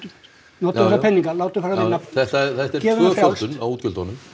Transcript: notum þessa peninga látum þá fara að vinna þetta þetta er tvöföldun á útgjöldum